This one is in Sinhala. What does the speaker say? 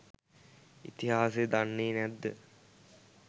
ඉතිහාසය දන්නේ නැද්ද.?